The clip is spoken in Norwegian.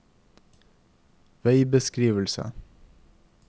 veibeskrivelse